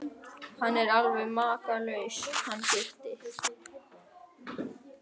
Hann er alveg makalaus hann Gutti.